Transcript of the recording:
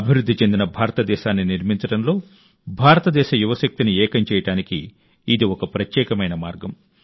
అభివృద్ధి చెందిన భారతదేశాన్ని నిర్మించడంలో భారతదేశ యువశక్తిని ఏకం చేయడానికి ఇది ఒక ప్రత్యేకమైన మార్గం